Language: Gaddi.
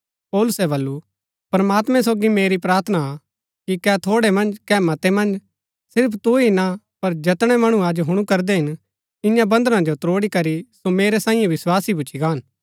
पौलुसै बल्लू प्रमात्मैं सोगी मेरी प्रार्थना हा कि कै थोड़ै मन्ज कै मतै मन्ज सिर्फ तु ही ना पर जैतनै मणु अज हुणु करदै हिन इन्या बन्‍धना जो त्रोड़ी करी सो मेरै सांईये विस्वासी भूच्ची गान